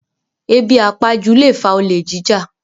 Ebi àpajú lè fa olè jíjà